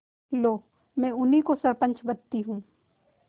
लो मैं उन्हीं को सरपंच बदती हूँ